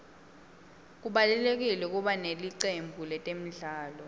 kubalulekile kuba nelicembu letemidlalo